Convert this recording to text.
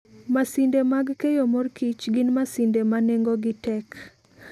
Masinde mag keyo mor kich gin masinde ma nengogi tek.